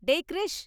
டேய் க்ரிஷ்!